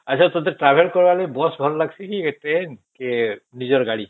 ଆଛା ତତେ travel କରିବା ଲାଗି bus ଭଲ ଲାଗିଛେ କି ଟ୍ରେନ କି ନିଜର ଗାଡି?